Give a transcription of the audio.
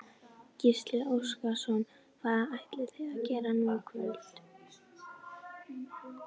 Gísli Óskarsson: Hvað ætlið þið að gera nú í kvöld?